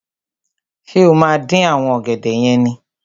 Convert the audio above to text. Ṣé o máa dín àwọn ọ̀gẹ̀dẹ̀ yẹn ni?